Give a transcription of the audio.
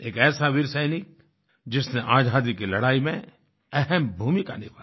एक ऐसा वीर सैनिक जिसने आज़ादी की लड़ाई में अहम भूमिका निभाई